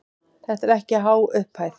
Þetta er ekki há upphæð.